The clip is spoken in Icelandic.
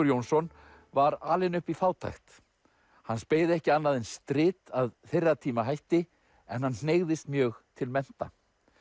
Jónsson var alinn upp í fátækt hans beið ekki annað en strit að þeirra tíma hætti en hann hneigðist mjög til mennta